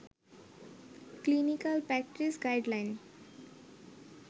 clinical practice guideline